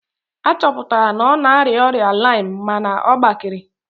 A chọpụtara na ọ na-arịa ọrịa laịm mana ọ gbakere